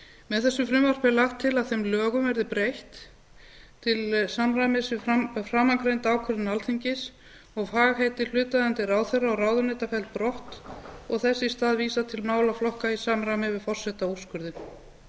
með þessu frumvarpi er lagt til að þeim lögum verði breytt til samræmis við framangreinda ákvörðun alþingis og fagheiti hlutaðeigandi ráðherra og ráðuneyta felld brott og þess í stað vísað til málaflokka í samræmi við